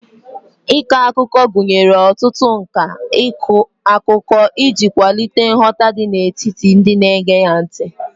Ịkọ akụkọ gụnyere ọtụtụ nka ịkọ akụkọ iji kwalite nghọta n'etiti ndị na-ege gị ntị